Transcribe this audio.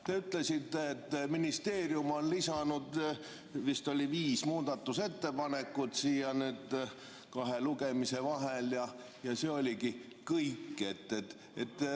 Te ütlesite, et ministeerium on lisanud vist viis muudatusettepanekut siia kahe lugemise vahel, ja see oligi kõik.